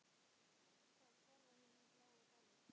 Þá hverfa hinir bláu dalir.